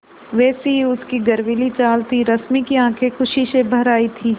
वैसी ही उसकी गर्वीली चाल थी रश्मि की आँखें खुशी से भर आई थीं